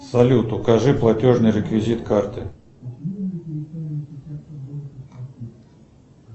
салют укажи платежный реквизит карты